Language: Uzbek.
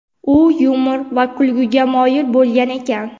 U yumor va kulguga moyil bo‘lgan ekan.